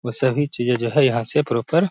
वो सभी चीजे जो है यहाँ से प्रोपर --